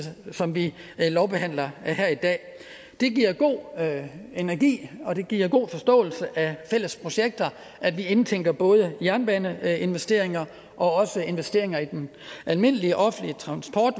som vi lovbehandler her i dag det giver god energi og det giver god forståelse af fælles projekter at vi indtænker både jernbaneinvesteringer og investeringer i den almindelige offentlige transport